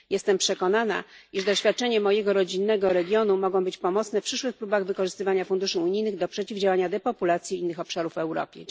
Jestem przekonana, iż doświadczenia mojego rodzinnego regionu mogą być pomocne w przyszłych próbach wykorzystywania funduszy unijnych do przeciwdziałania depopulacji innych obszarów w Europie.